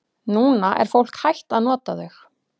Núna er fólk hætt að nota þau.